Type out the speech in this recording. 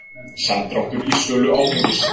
Samdráttur í sölu áfengis